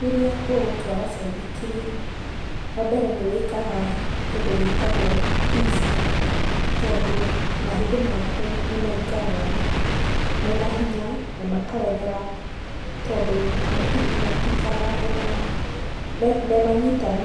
Rĩrĩa ũgũtwara baithikiri, wambere nĩwĩkaga kĩndũ gĩgwĩtwo tizi, tondũ mahĩndĩ makũ nĩmaikaraga mena hinya na makaregera, tondũ matikaraga mena memanyitanu.